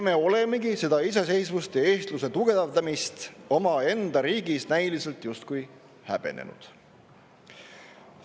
Me olemegi seda iseseisvust ja eestluse tugevdamist omaenda riigis näiliselt justkui häbenenud.